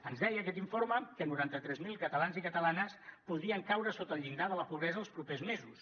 ens deia aquest informe que noranta tres mil catalans i catalanes podrien caure sota el llindar de la pobresa els propers mesos